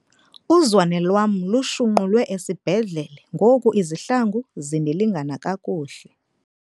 Uzwane lwam lushunqulwe esibhedlele ngoku izihlangu zindilingana kakuhle.